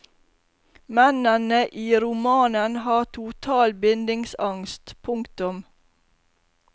Mennene i romanen har total bindingsangst. punktum